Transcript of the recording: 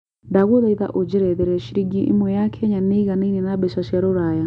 ndagũthaĩtha ũjerethere cĩrĩngĩ ĩmwe ya Kenya nĩ ĩganaĩne na mbeca cia rũraya